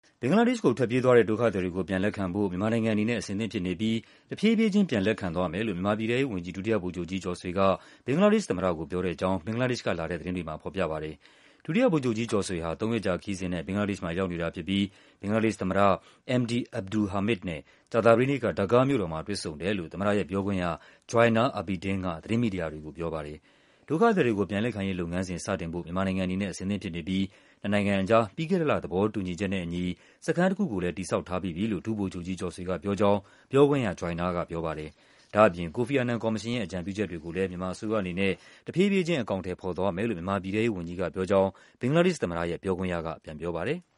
ဘင်္ဂလားဒေ့ရှ်ကိုထွက်ပြေးသွားတဲ့ ဒုက္ခသည်တွေကို ပြန်လက်ခံဖို့ မြန်မာနိုင်ငံအနေနဲ့ အဆင်သင့်ဖြစ်နေပြီး တဖြည်းဖြည်းချင်း ပြန်လက်ခံသွားမယ်လို့ မြန်မာပြည်ထဲရေးဝန်ကြီး ဒုတိယဗိုလ်ချုပ်ကြီးကျော်ဆွေက ဘင်္ဂလားဒေ့ရှ်သမ္မတကို ပြောတဲ့အကြောင်း ဘင်္ဂလားဒေ့ရှ်ကလာတဲ့ သတင်းတွေမှာ ဖော်ပြပါတယ်။ ဒုတိယဗိုလ်ချုပ်ကြီးကျော်ဆွေဟာ သုံးရက်ကြာခရီးစဉ်နဲ့ ဘင်္ဂလားဒေ့ရှ်မှာရောက်နေ တာဖြစ်ပြီး ဘင်္ဂလားဒေ့ရှ်သမ္မတ Md Abdul Hamid နဲ့ ကြာသပတေးနေ့က ဒါကားမြို့တော်မှာ တွေ့ဆုံတယ်လို့ သမ္မတရဲ့ပြောခွင့်ရ Joynal Abedin က သတင်းမီဒီယာတွေ ကိုပြောပါတယ်။ ဒုက္ခသည်တွေကို ပြန်လက်ခံရေးလုပ်ငန်းစဉ် စတင်ဖိုပ မြန်မာနိုင်ငံအနေနဲ့ အဆင်သင့်ဖြစ်နေပြီး နှစ်နိုင်ငံအကြား ပြီးခဲ့တဲ့လ သဘောတူညီချက်နဲ့အညီ စခန်းတခုကိုလည်း တည်ဆောက်ထားပြီးပြီလို့ ဒုဗိုလ်ချုပ်ကြီးကျော်ဆွေကပြောကြောင်း ပြောခွင့်ရ Joynal ကပြောပါတယ်။ ဒါ့အပြင် ကိုဖီ အာနန်ကော်မရှင်ရဲ့ အကြံပြုချက်တွေကိုလည်း မြန်မာအစိုးရအနေနဲ့ တဖြည်းဖြည်းချင်း အကောင်အထည်ဖော် သွားမယ်လို့ မြန်မာပြည်ထဲရေးဝန်ကြီးကပြောကြောင်း ဘင်္ဂလားဒေ့ရှ်သမ္မတရဲ့ ပြောခွင့်ရက ပြန်ပြောပါတယ်။